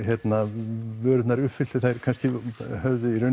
vörurnar höfðu